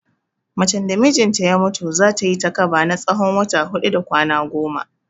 Macen da mijinta ya mutu, za ta yi takaba na tsawon wata huɗu da kwana goma.